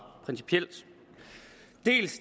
principielt dels